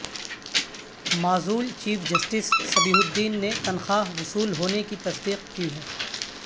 معزول chief justice Sabihuddin نے تنخواہ وصول ہونے کی تصدیق کی ہے